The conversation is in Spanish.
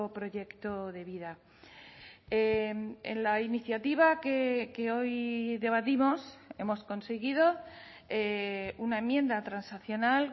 proyecto de vida en la iniciativa que hoy debatimos hemos conseguido una enmienda transaccional